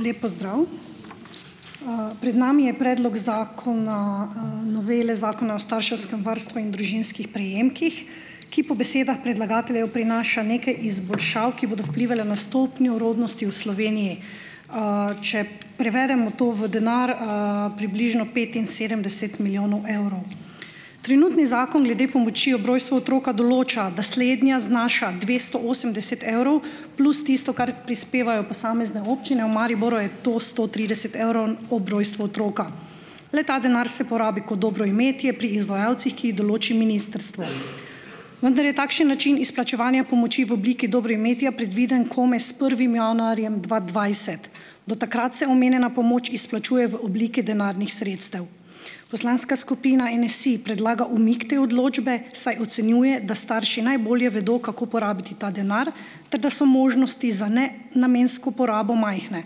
Lep pozdrav. Pred nami je predlog zakona, - novele Zakona o starševskem varstvu in družinskih prejemkih, ki po besedah predlagateljev prinaša nekaj izboljšav, ki bodo vplivale na stopnjo rodnosti v Sloveniji. Če prevedemo to v denar, - približno petinsedemdeset milijonov evrov. Trenutni zakon glede pomoči ob rojstvu otroka določa, da slednja znaša dvesto osemdeset evrov plus tisto, kar prispevajo posamezne občine. V Mariboru je to sto trideset evrov ob rojstvu otroka. Le-ta denar se porabi kot dobroimetje pri izvajalcih, ki jih določi ministrstvo. vendar je takšen način izplačevanja pomoči v obliki dobroimetja predviden komaj s prvim januarjem dva dvajset. Do takrat se omenjena pomoč izplačuje v obliki denarnih sredstev. Poslanska skupina NSi predlaga umik te odločbe, saj ocenjuje, da starši najbolje vedo, kako porabiti ta denar, ter da so možnosti za nenamensko porabo majhne.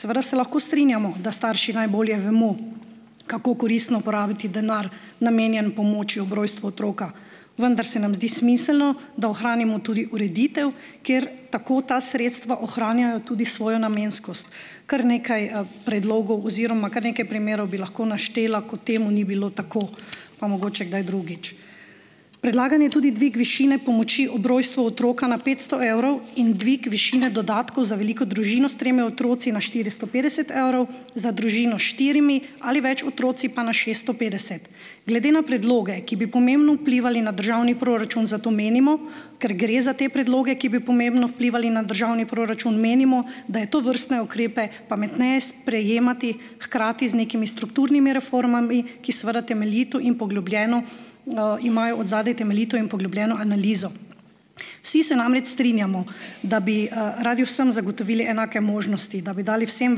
Seveda se lahko strinjamo, da starši najbolje vemo, kako koristno porabiti denar, namenjen pomoči ob rojstvu otroka, vendar se nam zdi smiselno, da ohranimo tudi ureditev, kjer tako ta sredstva ohranjajo tudi svojo namenskost. Kar nekaj, predlogov oziroma kar nekaj primerov bi lahko naštela, ko temu ni bilo tako. Pa mogoče kdaj drugič. Predlagan je tudi dvig višine pomoči ob rojstvu otroka na petsto evrov in dvig višine dodatkov za veliko družino s tremi otroci na štiristo petdeset evrov, za družino s štirimi ali več otroci pa na šeststo petdeset. Glede na predloge, ki bi pomembno vplivali na državni proračun, zato menimo - ker gre za te predloge, ki bi pomembno vplivali na državni proračun - menimo, da je tovrstne ukrepe pametneje sprejemati hkrati z nekimi strukturnimi reformami, ki seveda temeljito in poglobljeno, imajo odzadaj temeljito in poglobljeno analizo. Vsi se namreč strinjamo, da bi, radi vsem zagotovili enake možnosti, da bi dali vsem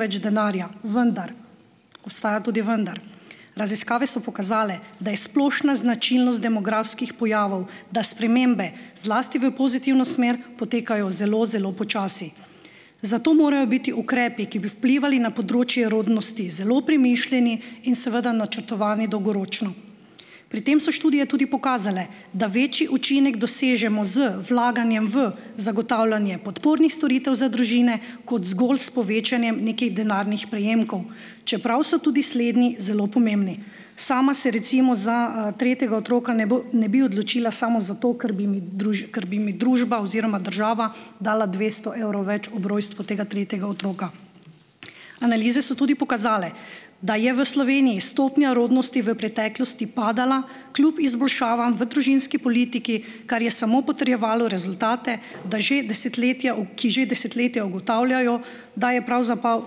več denarja. Vendar - obstaja tudi vendar. Raziskave so pokazale, da je splošna značilnost demografskih pojavov, da spremembe - zlasti v pozitivno smer - potekajo zelo, zelo počasi. Zato morajo biti ukrepi, ki bi vplivali na področje rodnosti, zelo premišljeni in seveda načrtovani dolgoročno. Pri tem so študije tudi pokazale, da večji učinek dosežemo z vlaganjem v zagotavljanje podpornih storitev za družine kot zgolj s povečanjem nekih denarnih prejemkov. Čeprav so tudi slednji zelo pomembni. Sama se recimo za, tretjega otroka ne bo ne bi odločila samo zato, ker bi mi ker bi mi družba oziroma država dala dvesto evrov več ob rojstvu tega tretjega otroka. Analize so tudi pokazale, da je v Sloveniji stopnja rodnosti v preteklosti padala kljub izboljšavam v družinski politiki, kar je samo potrjevalo rezultate, da že desetletja ki že desetletja ugotavljajo, da je pravzaprav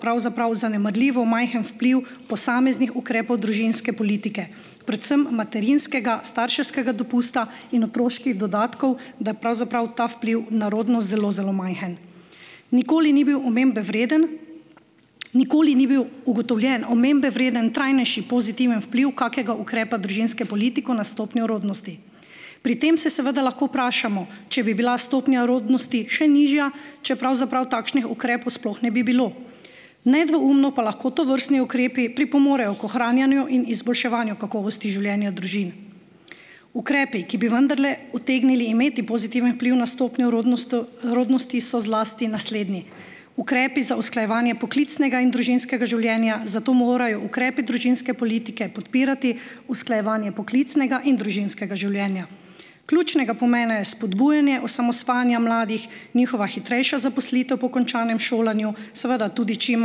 pravzaprav zanemarljivo majhen vpliv posameznih ukrepov družinske politike. Predvsem materinskega, starševskega dopusta in otroških dodatkov, da je pravzaprav ta vpliv na rodnost zelo, zelo majhen. Nikoli ni bil omembe vreden - nikoli ni bil ugotovljen, omembe vreden, trajnejši, pozitiven vpliv kakega ukrepa družinske politiko na stopnjo rodnosti. Pri tem se seveda lahko vprašamo, če bi bila stopnja rodnosti še nižja, če pravzaprav takšnih ukrepov sploh ne bi bilo. Nedvoumno pa lahko tovrstni ukrepi pripomorejo k ohranjanju in izboljševanju kakovosti življenja družin. Ukrepi, ki bi vendarle utegnili imeti pozitiven vpliv na stopnjo rodnost, rodnosti, so zlasti naslednji, ukrepi za usklajevanje poklicnega in družinskega življenja, zato morajo ukrepi družinske politike podpirati usklajevanje poklicnega in družinskega življenja. Ključnega pomena je spodbujanje osamosvajanja mladih, njihova hitrejša zaposlitev po končanem šolanju, seveda tudi čim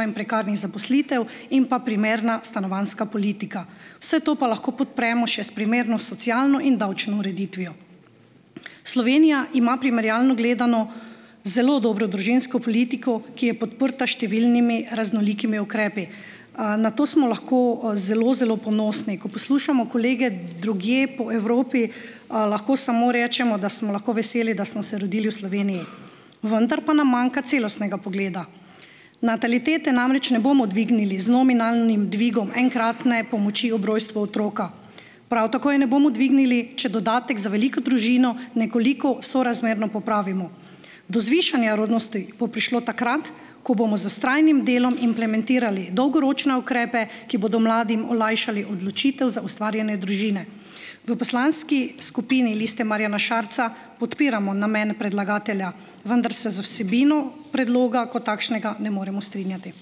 manj prekarnih zaposlitev in pa primerna stanovanjska politika. Vse to pa lahko podpremo še s primerno socialno in davčno ureditvijo. Slovenija ima, primerjalno gledano, zelo dobro družinsko politiko, ki je podprta s številnimi raznolikimi ukrepi. Na to smo lahko, zelo, zelo ponosni. Ko poslušamo kolege drugje po Evropi, lahko samo rečemo, da smo lahko veseli, da smo se rodili v Sloveniji. Vendar pa nam manjka celostnega pogleda. Natalitete namreč ne bomo dvignili z nominalnim dvigom enkratne pomoči ob rojstvu otroka, prav tako je ne bomo dvignili, če dodatek za veliko družino nekoliko sorazmerno popravimo. Do zvišanja rodnosti bo prišlo takrat, ko bomo z vztrajnim delom implementirali dolgoročne ukrepe, ki bodo mladim olajšali odločitev za ustvarjanje družine. V poslanski skupini Liste Marjana Šarca podpiramo namen predlagatelja, vendar se z vsebino predloga kot takšnega ne moremo strinjati.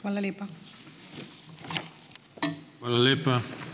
Hvala lepa.